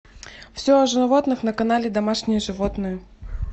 все о животных на канале домашние животные